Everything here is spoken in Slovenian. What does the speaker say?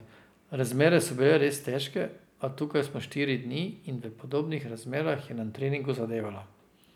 Razmere so bile res težke, a tukaj smo štiri dni in v podobnih razmerah je na treningu zadevala.